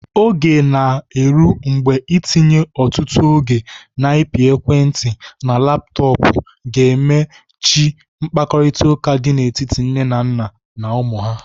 Oge ga-eru mgbe itinye ọtụtụ oge n'ịpị ekwentị na laptọpụ ga-eme chi mkparịtaụka dị n'etiti nne, nna na ụmụ ha.